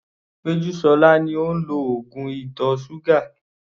Pejusola ni ó ń lo oògùn ìtọ̀ ṣúgà.